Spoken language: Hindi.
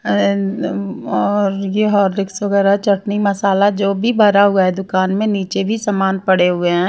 और ये हॉरिक्स वगैरह चटनी मसाला जो भी भरा हुआ है दुकान में नीचे भी सामान पड़े हुए हैं।